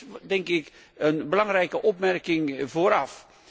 Dat is een belangrijke opmerking vooraf.